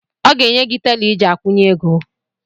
Ọ ga-enye gị tela iji akwụnye ego.